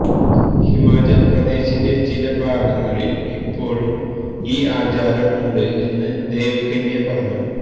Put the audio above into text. ഹിമാചൽ പ്രദേശിന്റെ ചില ഭാഗങ്ങളിൽ ഇപ്പോഴും ഈ ആചാരം ഉണ്ട് എന്ന് ദേവ് കന്യ പറഞ്ഞു